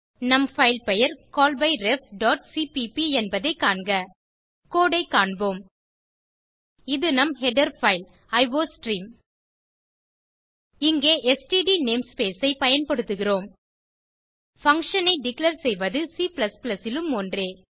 நம் பைல் பெயர் callbyrefசிபிபி என்பதைக் காண்க கோடு ஐ காண்போம் இது நம் ஹெடர் பைல் அயோஸ்ட்ரீம் இங்கே ஸ்ட்ட் நேம்ஸ்பேஸ் ஐ பயன்படுத்துகிறோம் பங்ஷன் ஐ டிக்ளேர் செய்வது C லும் ஒன்றே